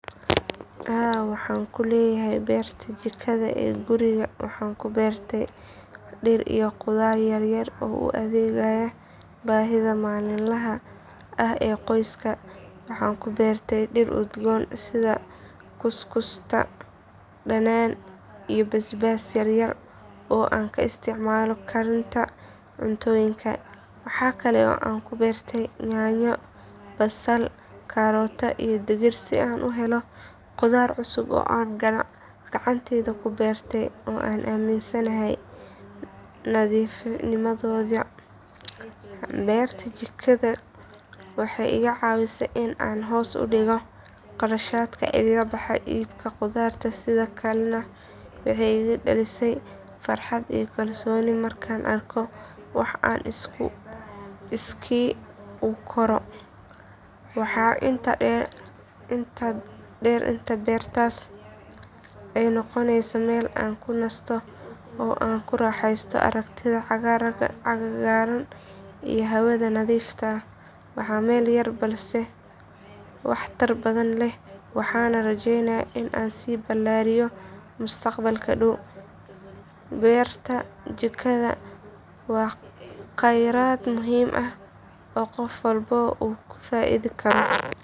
Haa waxaan ku leeyahay beerta jikada ee guriga waxaanan ku beertay dhir iyo khudaar yar yar oo u adeegaya baahida maalinlaha ah ee qoyska. Waxaan ku beertay dhir udgoon sida kuskusta, dhanaan, iyo basbaas yar yar oo aan ka isticmaalo karinta cuntooyinka. Waxaa kale oo aan ku beertay yaanyo, basal, karootada iyo digir si aan u helo khudaar cusub oo aan gacantayda ku beertay oo aan aaminsanahay nadiifnimadooda. Beerta jikada waxay iga caawisay in aan hoos u dhigo qarashaadka iiga baxa iibka khudradda sidoo kalena waxay igu dhalisay farxad iyo kalsooni markaan arko wax aan iskii u koro. Waxaa intaa dheer in beertaas ay ii noqotay meel aan ku nasto oo aan ku raaxaysto aragtida cagaaran iyo hawada nadiifta. Waa meel yar balse waxtar badan leh waxaana rajeynayaa in aan sii ballaariyo mustaqbalka dhow. Beerta jikada waa khayraad muhiim ah oo qof walba uu ka faa’iidi karo.